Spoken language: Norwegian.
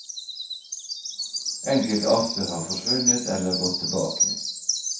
Enkelte arter har forsvunnet eller gått tilbake.